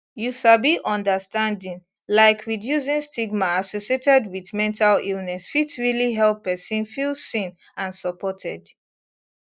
you sabi understanding laik reducing stigma associated wit mental illness fit realli help pesin feel seen and supported